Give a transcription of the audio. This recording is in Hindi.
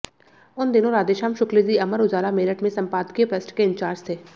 उन दिनों राधेश्याम शुक्ल जी अमर उजाला मेरठ में संपादकीय पृष्ठ के इंचार्ज थे